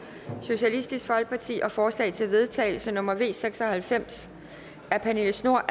og forslag til vedtagelse nummer v seks og halvfems af pernille schnoor